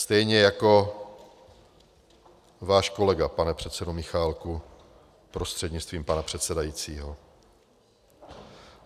Stejně jako váš kolega, pane předsedo Michálku prostřednictvím pana předsedajícího.